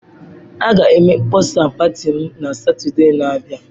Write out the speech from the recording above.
A ga-eme mkpọsa pati m na Satọde na-abịa.